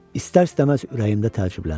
İstər-istəməz ürəyimdə təəccübləndim.